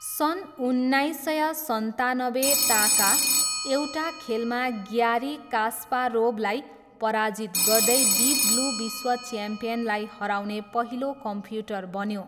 सन् उन्नाइस सय सन्तानब्बे ताका एउटा खेलमा ग्यारी कास्पारोभलाई पराजित गर्दै डिप ब्लू विश्व च्याम्पियनलाई हराउने पहिलो कम्प्युटर बन्यो।